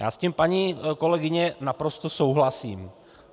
Já s tím, paní kolegyně, naprosto souhlasím.